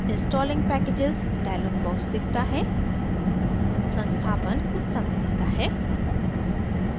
installing packages dialog box दिखता है संस्थापन कुछ समय लेता है